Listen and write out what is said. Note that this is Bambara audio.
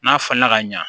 N'a falenna ka ɲa